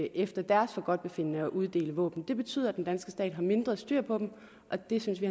efter deres forgodtbefindende at uddele våben det betyder at den danske stat har mindre styr på dem og det synes vi